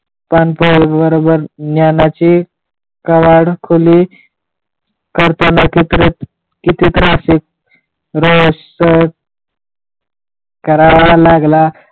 पानपोळी बरोबर ज्ञानाची कवाड खुली करताना किती त्रास सहन करावा लागला